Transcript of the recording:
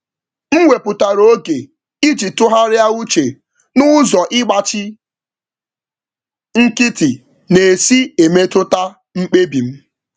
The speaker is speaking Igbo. M wepụtara oge iji tụgharịa uche na ka ịnọ jụụ si metụta mkpebi m.